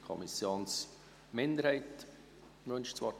Die Kommissionsminderheit wünscht das Wort.